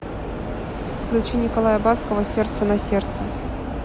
включи николая баскова сердце на сердце